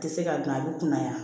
Tɛ se ka dun a bɛ kunna yan